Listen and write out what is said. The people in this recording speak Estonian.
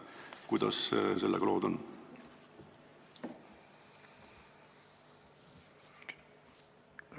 Kuidas sellega lood on?